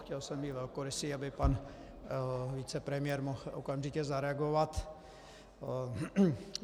Chtěl jsem být velkorysý, aby pan vicepremiér mohl okamžitě zareagovat.